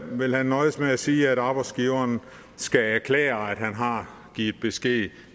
vil han nøjes med at sige at arbejdsgiveren skal erklære at han har givet besked